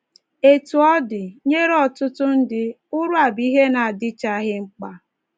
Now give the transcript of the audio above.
Etu ọ dị, nye ọtụtụ ndị, ụra bụ ihe na-adịchaghị mkpa.